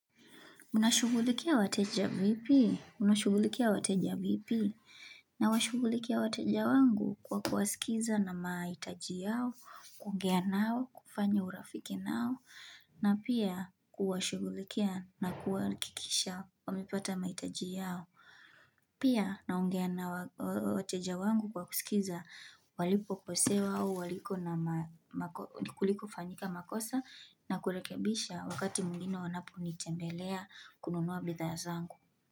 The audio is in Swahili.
Nashughulikia wateja vipi? Nashughulikia wateja vipi? Nawashugulikia wateja wangu kwa kuwasikiza na mahitaji yao, kuongea nao, kufanya urafiki nao, na pia kuwashughulikia na kuwahakikisha wamepata mahitaji yao. Pia naongea na wateja wangu kwa kusikiza walipokosewa au waliko na kuliko fanyika makosa na kurehekebisha wakati mwingina wanaponitembelea kununua bidhaa zangu.